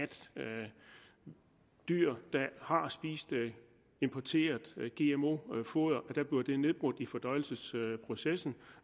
dyr der har spist importeret gmo foder får det nedbrudt i fordøjelsesprocessen